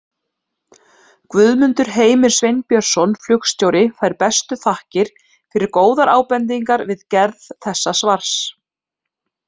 Guðmundur Heimir Sveinbjörnsson flugstjóri fær bestu þakkir fyrir góðar ábendingar við gerð þessa svars.